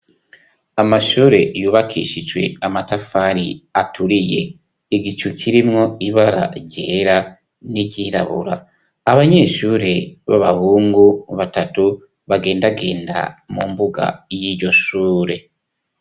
Smashure yubakishijwe amatafari aturiye, igicu kirimwo ibara ryera n'iryirabura, abanyeshure b'abahungu batatu bagendagenda mumbuga y'iyoshure.